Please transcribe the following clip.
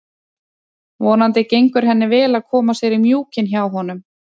Vonandi gengur henni vel að koma sér í mjúkinn hjá honum.